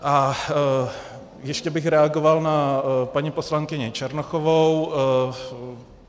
A ještě bych reagoval na paní poslankyni Černochovou.